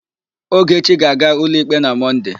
Ogechi ga-aga ụlọikpe na Mọnde.